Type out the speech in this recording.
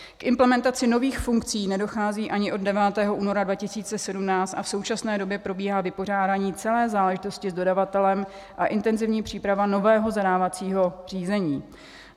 K implementaci nových funkcí nedochází ani od 9. února 2017 a v současné době probíhá vypořádání celé záležitosti s dodavatelem a intenzivní příprava nového zadávacího řízení.